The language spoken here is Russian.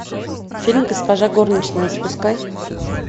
фильм госпожа горничная запускай